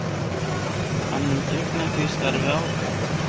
Hann mun gegna því starfi áfram